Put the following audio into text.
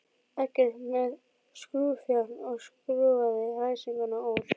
Eggert með skrúfjárn og skrúfaði læsinguna úr.